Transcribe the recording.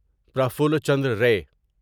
Prafulla Chandra ری